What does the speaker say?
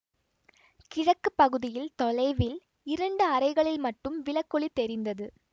கிழக்கு பகுதியில் தொலைவில் இரண்டு அறைகளில் மட்டும் விளக்கொளி தெரிந்தது